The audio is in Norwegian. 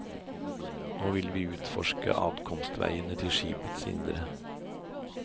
Nå vil vi utforske adkomstveiene til skipets indre.